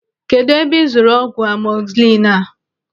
Kedụ ebe ị zụrụ ọgwụ amọzisilin a?